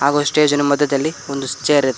ಹಾಗು ಸ್ಟೇಜ್ ಇನ ಮಧ್ಯದಲ್ಲಿ ಒಂದು ಚೇರ್ ಇದೆ.